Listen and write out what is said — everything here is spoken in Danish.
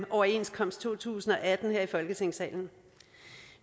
overenskomst to tusind og atten her i folketingssalen